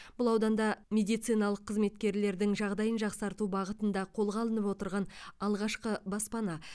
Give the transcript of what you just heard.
бұл ауданда мемдициналық қызметкерлердің жағдайын жақсарту бағытында қолға алынып отырған алғашқы баспана